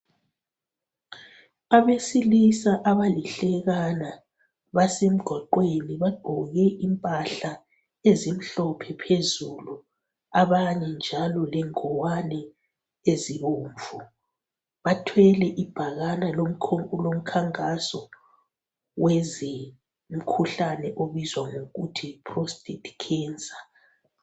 Abesilisa abalihlekana basemgwaqweni ,bagqoke impahla ezimhlophe phezulu abanye njalo lengowane ezibomvu. Bathwele ibhakana lomkhankaso weze mkhuhlane obizwa ngokuthi Yi prostate cancer.